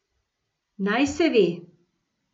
Naj se ve.